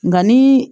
Nka ni